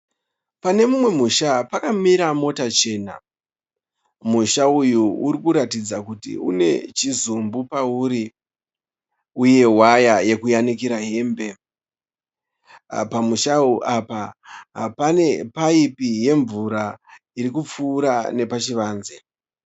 Pane mumwe musha pakamira mota chena. Musha uyu urikuratidza kuti une chizumbu pauri, uye waya yekuyanikira hembe. Pamushawo apa, pane paipi yemvura irikupfuura nepachivanze.